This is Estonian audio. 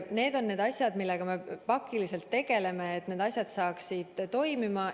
Need on need asjad, millega me pakiliselt tegeleme, et asjad saaksid liikuma.